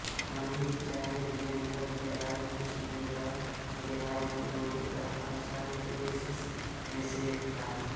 मनीचार्य विजयनगर के राजा कृष्णदेवराय के राजपुरोहित तथाचार्य के दो शिष्यों में से एक था